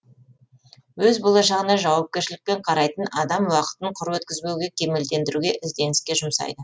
өз болашағына жауапкершілікпен қарайтын адам уақытын құр өткізбеуге кемелдендіруге ізденіске жұмсайды